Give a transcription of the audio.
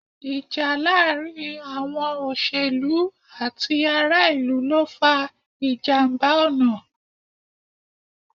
Ìjà láàárín àwọn òṣèlú àti ará-ìlú ló fa ìjàmbá ọ̀nà.